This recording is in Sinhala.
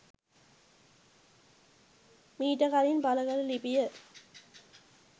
මීට කලින් පලකල ලිපිය.